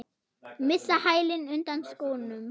Missa hælinn undan skónum.